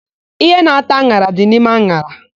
Íhé na-ata an̄ara dị n'ime an̄ara.